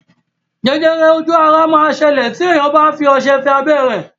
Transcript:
Jẹjẹrẹ ojú ara máa ń ṣẹlẹ̀ tí èèyàn bá fi ọṣẹ fọ abẹ́ rẹ̀